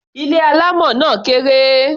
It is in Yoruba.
Ilé alámọ̀ náà kéré.